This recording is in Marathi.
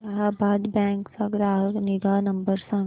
अलाहाबाद बँक चा ग्राहक निगा नंबर सांगा